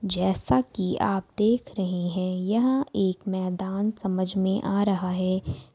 जैसा की आप देख रहे है यह एक मैदान समझ में आ रहा है।